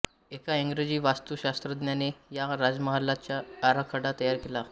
एका इंग्रजी वास्तुशास्त्रज्ञाने या राजमहालाचा आराखडा तयार केला